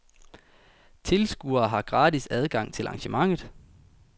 Tilskuere har gratis adgang til arrangementet.